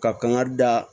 Ka kan ka da